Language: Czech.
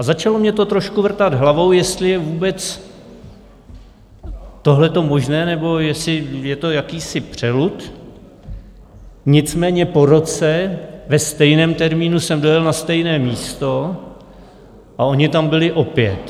A začalo mi to trochu vrtat hlavou, jestli je vůbec tohleto možné nebo jestli je to jakýsi přelud, nicméně po roce ve stejném termínu jsem dojel na stejné místo a oni tam byli opět.